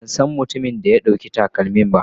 Ban san mutumin da ya ɗauki takalmin ba.